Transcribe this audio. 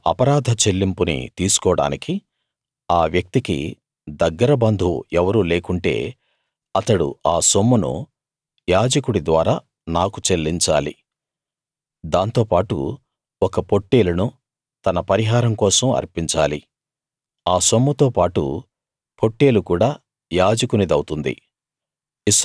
ఆ అపరాధ చెల్లింపుని తీసుకోడానికి ఆ వ్యక్తికి దగ్గర బంధువు ఎవరూ లేకుంటే అతడు ఆ సొమ్మును యాజకుడి ద్వారా నాకు చెల్లించాలి దాంతోపాటు ఒక పొట్టేలును తన పరిహారం కోసం అర్పించాలి ఆ సొమ్ముతో పాటు పొట్టేలు కూడా యాజకునిదవుతుంది